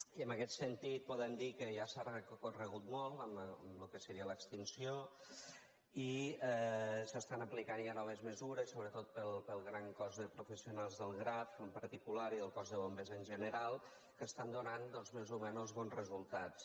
i en aquest sentit podem dir que ja s’ha recorregut molt en el que seria l’extinció i s’estan aplicant ja noves mesures sobretot pel gran cos de professionals del graf en particular i el cos de bombers en general que estan donant doncs més o menys bons resultats